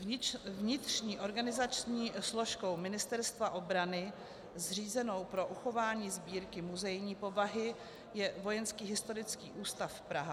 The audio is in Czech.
Vnitřní organizační složkou Ministerstva obrany zřízenou pro uchování sbírky muzejní povahy je Vojenský historický ústav Praha.